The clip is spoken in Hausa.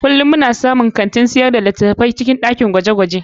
Kullum muna samun kantin sayar da littattafai a cikin dakin gwaje-gwaje.